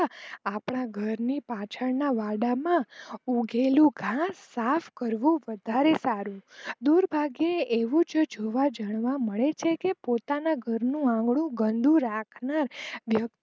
આપડા ઘરના પાછળ ના વાળા માં ઉગેલું ઘાસ સાફ કરવું વધારે સારું દુર્ભાગ્ય એવું જોવા મળે છે કે પોતાનું ઘરનું આંગણું ગંદુ રાખનાર વક્તિ